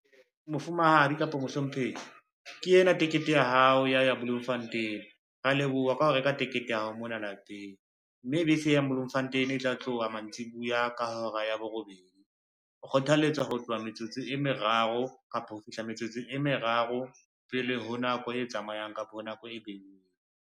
Mofumahadi kapa mohlomphehi ke ena tekete ya hao ya ya Bloemfontein, rea leboha ka ho reka tekete ya hao mona lapeng, mme bese e yang Bloemfontein e tla tloha mantsiboya ka hora ya borobedi. O kgothaletswa ho tloha metsotso e meraro kapa ho fihla metsotso e meraro pele ho nako e tsamayang, kapa nako e beuweng.